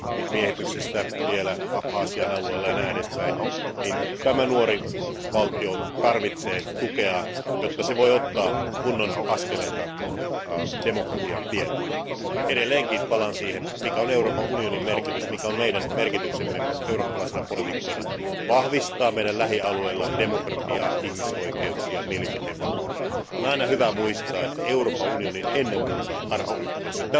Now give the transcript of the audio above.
miehityksestä vielä Abhasian alueella ja näin edespäin, niin tämä nuori valtio tarvitsee tukea, jotta se voi ottaa kunnon askeleita demokratian tiellä. Edelleenkin palaan siihen, mikä on Euroopan unionin merkitys, mikä on meidän merkityksemme eurooppalaisina poliitikkoina vahvistaa meidän lähialueillamme demokratiaa, ihmisoikeuksia ja mielipiteenvapautta. On aina hyvä muistaa, että Euroopan unioni on ennen muuta arvoyhteisö.